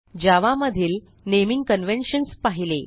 जावा मधील naming conventions पाहिले